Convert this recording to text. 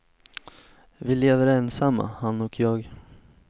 Vi lever ensamma, han och jag.